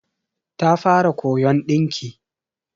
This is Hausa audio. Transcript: Ta fara koyon dinki.